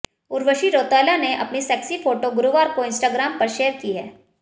उर्वशी रौतेला ने अपनी sexy photo गुरुवार को इंस्टाग्राम पर शेयर की है